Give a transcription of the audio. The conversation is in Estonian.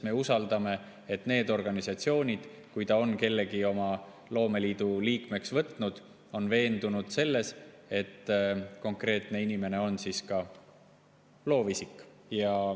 Me usaldame neid organisatsioone: kui nad on kellegi oma liikmeks võtnud, siis nad on veendunud selles, et konkreetne inimene on ka loovisik.